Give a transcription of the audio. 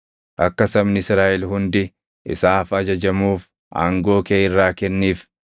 Akka sabni Israaʼel hundi isaaf ajajamuuf aangoo kee irraa kenniif.